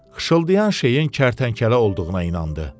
Xışıldayan şeyin kərtənkələ olduğuna inandı.